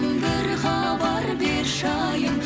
бір хабар берші айым